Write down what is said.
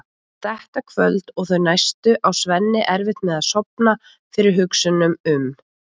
Þetta kvöld og þau næstu á Svenni erfitt með að sofna fyrir hugsunum um